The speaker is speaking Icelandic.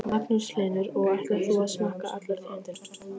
Magnús Hlynur: Og ætlar þú að smakka allar tegundirnar?